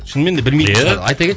шынымен де білмейтін шығар